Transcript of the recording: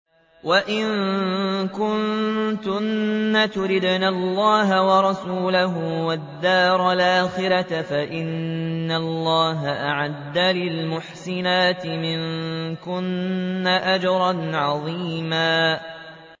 وَإِن كُنتُنَّ تُرِدْنَ اللَّهَ وَرَسُولَهُ وَالدَّارَ الْآخِرَةَ فَإِنَّ اللَّهَ أَعَدَّ لِلْمُحْسِنَاتِ مِنكُنَّ أَجْرًا عَظِيمًا